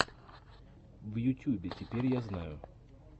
в ютюбе теперь я знаю